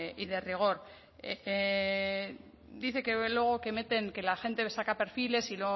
y de rigor dice que luego que meten que la gente saca perfiles